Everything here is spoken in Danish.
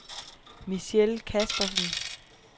Michelle Caspersen